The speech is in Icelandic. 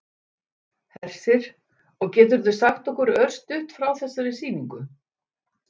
Hersir: Og geturðu sagt okkur örstutt frá þessari sýningu?